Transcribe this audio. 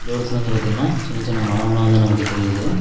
தூரத்துல வந்து பாத்தீங்கனா சின்ன சின்ன மரம்லா வந்து நமக்கு தெரியிது.